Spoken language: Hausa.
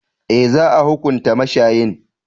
Eh, za a hunkunta mashayin.